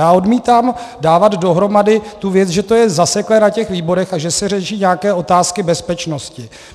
Já odmítám dávat dohromady tu věc, že to je zaseklé na těch výborech a že se řeší nějaké otázky bezpečnosti.